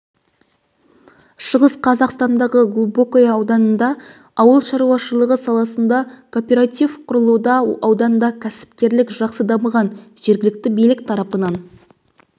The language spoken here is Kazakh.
шығыс қазақстандағы глубокое ауданында ауыл шаруашылығы саласында кооператив құрылуда ауданда кәсіпкерлік жақсы дамыған жергілікті билік тарапынан